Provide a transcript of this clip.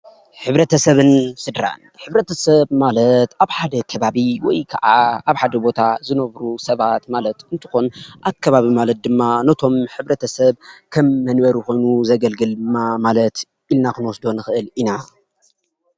ሕብረተሰብን ስድራን ሕብረተሰብ ማለት አብ ሓደ ከባቢ ወይ ከዓ አብ ሓደ ቦታ ዝነብሩ ሰባት ማለት እንተኾን፤ አከባቢ ማለት ድማ ነቶም ሕብረተሰብ ከም መንበሪ ኮይኑ ዘገልግል ኢልና ክንወስዶ ንክእል ኢና፡፡